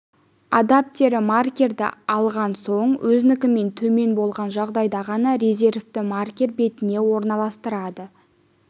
адаптері маркерді алған соң өзінікінен төмен болған жағдайда ғана резервті маркер битіне орналастырады